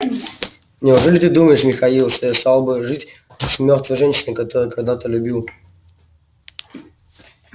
неужели ты думаешь михаил что я стал бы жить с мёртвой женщиной которую когда-то любил